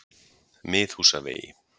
Miðhúsavegi